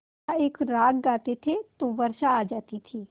का एक राग गाते थे तो वर्षा आ जाती थी